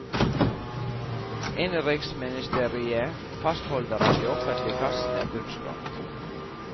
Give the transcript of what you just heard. Innenriksministeriet fastholder at de offentlige kassene er bunnskrapt.